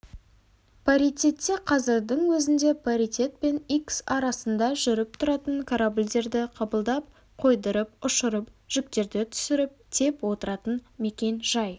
паритетте қазірдің өзінде паритет пен икс арасында жүріп тұратын корабльдерді қабылдап қойдырып ұшырып жүктерді түсіріп тиеп отыратын мекен-жай